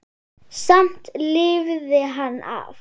Samt lifði hann af.